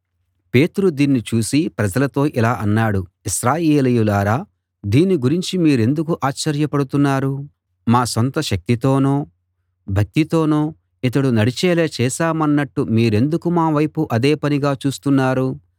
పేతురు దీన్ని చూసి ప్రజలతో ఇలా అన్నాడు ఇశ్రాయేలీయులారా దీని గురించి మీరెందుకు ఆశ్చర్యపడుతున్నారు మా సొంత శక్తితోనో భక్తితోనో ఇతడు నడిచేలా చేశామన్నట్టు మీరెందుకు మా వైపు అదేపనిగా చూస్తున్నారు